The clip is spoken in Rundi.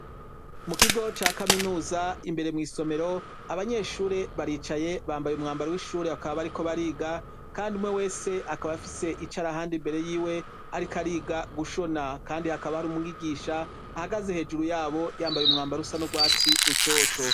mu kigo ca kaminuza imbere mu isomero abanyeshure baricaye bambaye umwambara w'ishure akaba bariko bariga kandi umwe wese akaba afise icarahandi mbere yiwe ariko ariga gushona kandi hakaba hari umwigisha ahagaze hejuru yabo yambaye umwambara rusa nu bwatsi rutoto